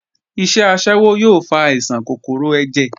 Iṣẹ́ aṣẹ́wó yóò fa àìsàn kòkòrò ẹ̀jẹ̀